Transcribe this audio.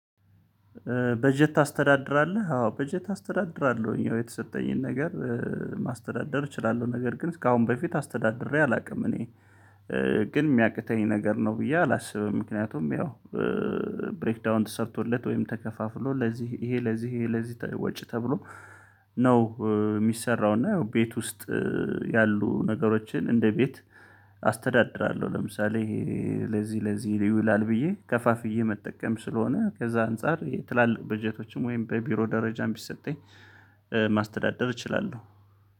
በጀት ታስተዳድራለህ? አዎ በጀት አስተዳድራለሁኝ የተሰጠኝን ነገር ማስተዳደር እችላለሁ። ነገር ግን ካሁን በፊት አስተዳድሬ አላውቅም እኔ ግን የሚያቅተኝ ነገር ነው ብዬ አላስብም። ምክንያቱም ያው ብሬክ ዳውን ተሰርቶለት ወይም ተከፋፍሎ ለዚህ ይሄ ለዚህ ይሄ ለዚህ ወጪ ተብሎ ነው ሚሰራው። እና ያው ቤት ውስጥ ያሉ ነገሮችን እንደ ቤት አስተዳድራለሁ። ለምሳሌ ለዚህ ለዚህ ይህ ይውላል ብዬ ከፋፍዬ መጠቀም ስለሆነ ከዛ አንፃር ትላልቅ በጀቶችም ወይም በቢሮ ደረጃም ቢሰጠኝ ማስተዳደር እችላለሁ